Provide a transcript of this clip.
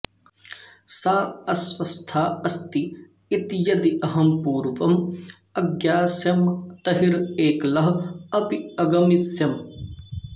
सा अस्वस्था अस्ति इति यदि अहं पूर्वं अज्ञास्यम् तर्हि एकलः अपि अगमिष्यम्